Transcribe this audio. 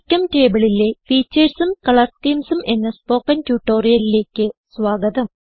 GChemTableലെ Featuresഉം കളർ Schemesഉം എന്ന സ്പോകെൻ ട്യൂട്ടോറിയലിലേക്ക് സ്വാഗതം